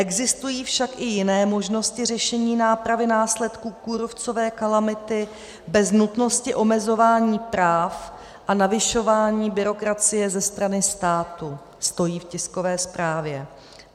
Existují však i jiné možnosti řešení nápravy následků kůrovcové kalamity, bez nutnosti omezování práv a navyšování byrokracie ze strany státu," stojí v tiskové zprávě.